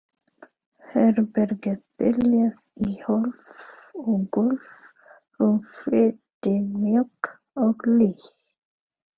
Herbergið þiljað í hólf og gólf, rúmfötin mjúk og hlý.